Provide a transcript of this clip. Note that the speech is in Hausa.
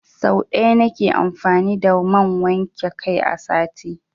Sau ɗaya na ke amfani da man wanke kai a sati.